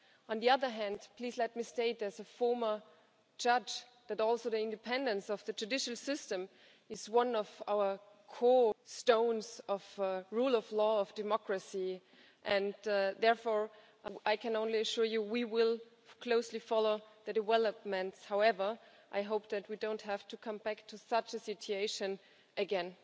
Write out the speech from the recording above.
On the other hand, please let me state, as a former judge, that the independence of the judicial system is also one of the cornerstones of the rule of law and democracy and, therefore, I can only assure you that we will closely follow the developments. However, I hope that we don't have to come back to such a situation again.